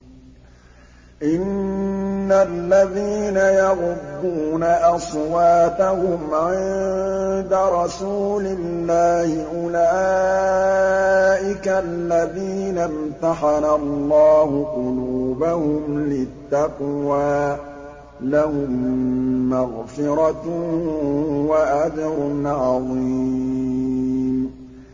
إِنَّ الَّذِينَ يَغُضُّونَ أَصْوَاتَهُمْ عِندَ رَسُولِ اللَّهِ أُولَٰئِكَ الَّذِينَ امْتَحَنَ اللَّهُ قُلُوبَهُمْ لِلتَّقْوَىٰ ۚ لَهُم مَّغْفِرَةٌ وَأَجْرٌ عَظِيمٌ